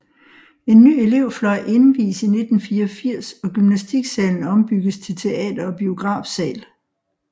En ny elevfløj indvies i 1984 og gymnastiksalen ombygges til teater og biografsal